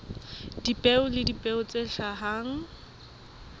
dipeo le dipeo tse hlahang